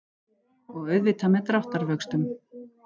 Og auðvitað með dráttarvöxtum.